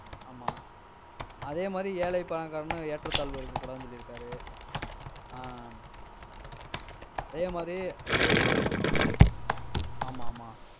ஆமா அதே மாதிரி ஏழை, பணக்காரனும், ஏற்றத்தாழ்வு இருக்கக் கூடாது சொல்லிருக்காரு ஆஹ் அதேமாதிரி ஆமா ஆமா